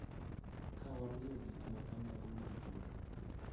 Ka wamiyo gik ma kamago luor, .